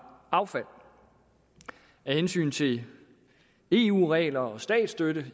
affald af hensyn til eu regler og statsstøtte